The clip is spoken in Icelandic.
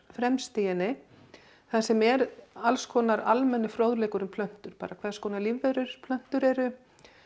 fremst í henni þar sem er alls konar almennur fróðleikur um plöntur bara hvers konar lífverur plöntur eru